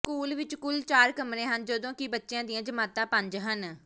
school ਵਿਚ ਕੁੱਲ ਚਾਰ ਕਮਰੇ ਹਨ ਜਦੋਂ ਕਿ ਬੱਚਿਆਂ ਦੀਆਂ ਜਮਾਤਾਂ ਪੰਜ ਹਨ